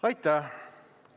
Aitäh!